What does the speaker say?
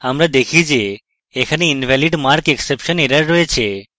আমরা দেখি যে এখানে invalidmarkexception error রয়েছে